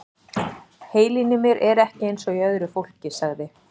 Heilinn í mér er ekki eins og í öðru fólki- sagði